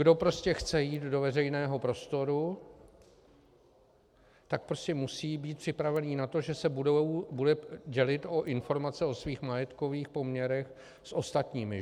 Kdo prostě chce jít do veřejného prostoru, tak prostě musí být připravený na to, že se bude dělit o informace o svých majetkových poměrech s ostatními.